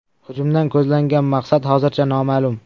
Hujumdan ko‘zlangan maqsad hozircha noma’lum.